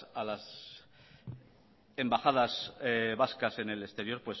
las embajadas vascas en el exterior